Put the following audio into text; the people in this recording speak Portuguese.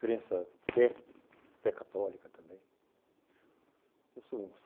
Crença, fé, fé católica também.